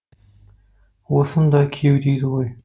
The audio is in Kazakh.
осыны да күйеу дейді ғой